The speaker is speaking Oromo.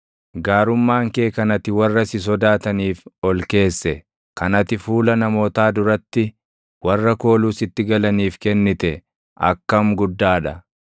Gaarummaan kee kan ati warra si sodaataniif ol keesse, kan ati fuula namootaa duratti warra kooluu sitti galaniif kennite akkam guddaa dha!